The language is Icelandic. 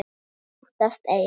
Óttast ei.